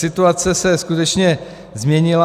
Situace se skutečně změnila.